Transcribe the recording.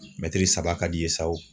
Mɛtiri saba ka d'i ye sa wo